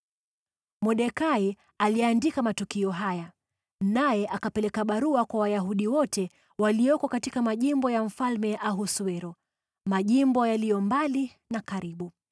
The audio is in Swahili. Mordekai aliandika matukio haya, naye akapeleka barua kwa Wayahudi wote walioko katika majimbo ya Mfalme Ahasuero, majimbo yaliyo mbali na karibu,